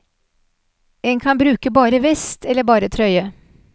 En kan bruke bare vest, eller bare trøye.